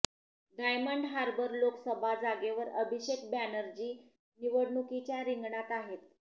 diamond Harbour Lok Sabha जागेवर अभिषेक बॅनर्जी निवडणुकीच्या रिंगणात आहेत